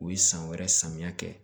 U ye san wɛrɛ samiya kɛ